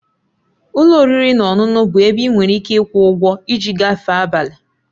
Ụlọ oriri na ọṅụṅụ bụ ebe ị nwere ike ịkwụ ụgwọ iji gafee abalị